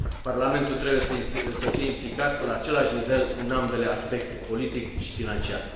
Parlamentul trebuie să fie implicat la același nivel în ambele aspecte, politic și financiar.